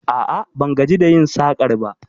A'a, ban gaji da yin sakar ba